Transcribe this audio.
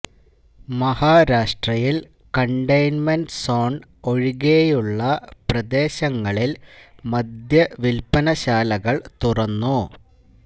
മഹാരാഷ്ട്രയില് containment zone ഒഴികെയുള്ള പ്രദേശങ്ങളില് മദ്യ വില്പന ശാലകള് തുറന്നു